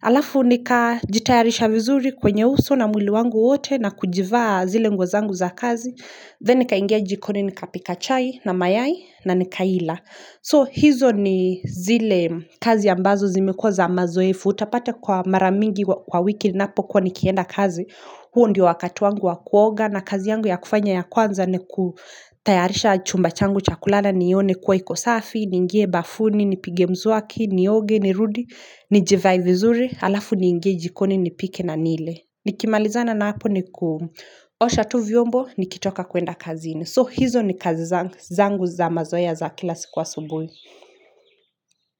halafu nikajitayarisha vizuri kwenye uso na mwili wangu wote Nakujivaa zile nguo zangu za kazi Then nikaingia jikoni nikapika chai na mayai nanikaila So hizo ni zile kazi ambazo zimekuwa za mazoefu Utapata kwa mara mingi kwa wiki ninapokuwa nikienda kazi, huo ndio wakati wangu wa kuoga na kazi yangu ya kufanya ya kwanza ni kutayarisha chumba changu cha kulala nione kuwa iko safi, niingie bafuni, nipige mswaki, nioge, nirudi, nijivae vizuri, halafu niingie jikoni, nipike na nile. Nikimalizana na hapo ni kuosha tu vyombo, nikitoka kuenda kazini. So hizo ni kazi zangu za mazoea za kila siku asubuhi.